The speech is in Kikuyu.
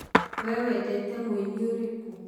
we wendete mũinĩ ũrĩkũ ?